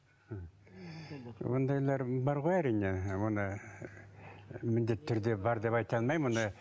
ондайлар бар ғой әрине оны міндетті түрде бар деп айта алмаймын оны